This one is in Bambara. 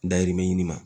Dayirimɛ ɲini ma